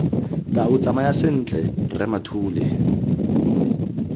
tau tsamaya sentle rre mathule